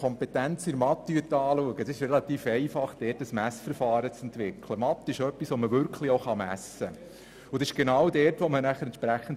Es ist recht einfach, die Kompetenzen im Fach Mathematik zu testen und zu messen.